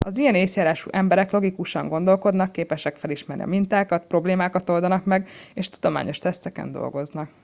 az ilyen észjárású emberek logikusan gondolkodnak képesek felismerni a mintákat problémákat oldanak meg és tudományos teszteken dolgoznak